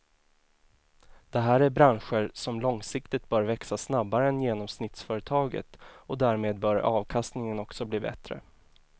Det här är branscher som långsiktigt bör växa snabbare än genomsnittsföretaget och därmed bör avkastningen också bli bättre.